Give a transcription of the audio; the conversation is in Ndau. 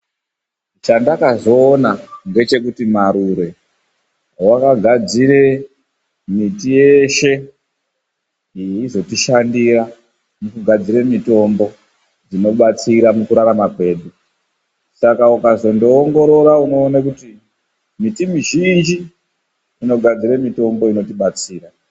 Chandakazoona ngechekuti, Marure vakagadzire miti yeshe inozotishandira mukugadzire mitombo inotibatsire mukurarama kwedu. Saka, ukazongoongora unoone kuti miti mizhinji inogadzire mitombo inotibatsira.